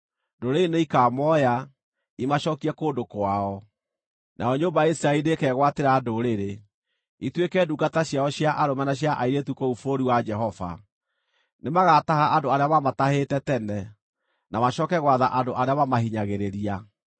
Ndũrĩrĩ nĩikamooya, imacookie kũndũ kwao. Nayo nyũmba ya Isiraeli nĩĩkegwatĩra ndũrĩrĩ, ituĩke ndungata ciao cia arũme na cia airĩtu kũu bũrũri wa Jehova. Nĩmagataha andũ arĩa maamatahĩte tene, na macooke gwatha andũ arĩa maamahinyagĩrĩria.